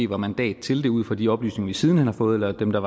var mandat til det ud fra de oplysninger vi siden hen har fået eller dem der